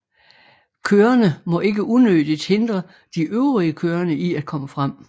Kørende må ikke unødigt hindre de øvrige kørende i at komme frem